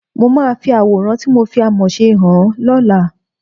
Mo máa fi àwòrán tí mo fi àmọ̀ ṣe hàn ẹ́ lọ́la